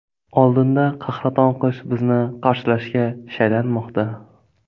Oldinda qahraton qish bizni qarshilashga shaylanmoqda.